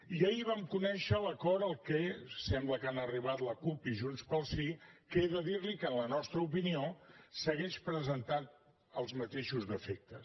i ahir vam conèixer l’acord a què sembla que han arribat la cup i junts pel sí que he de dir li que en la nostra opinió segueix presentant els mateixos defectes